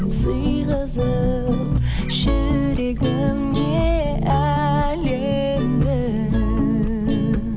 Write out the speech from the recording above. сыйғызып жүрегіме әлемді